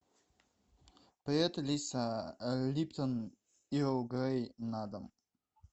привет алиса липтон эрл грей на дом